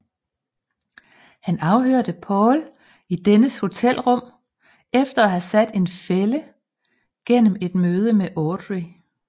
Han afhørte Paul i dennes hotelrum efter at have sat en fælde gennem et møde med Audrey